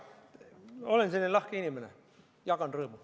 Jaa, olen selline lahke inimene, jagan rõõmu.